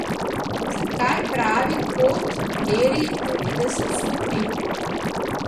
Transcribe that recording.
Zakaj pravi kot meri devetdeset stopinj?